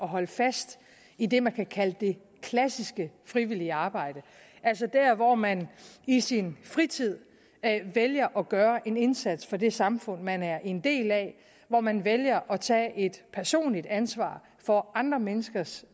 holde fast i det man kan kalde det klassiske frivillige arbejde altså der hvor man i sin fritid vælger at gøre en indsats for det samfund man er en del af hvor man vælger at tage et personligt ansvar for andre menneskers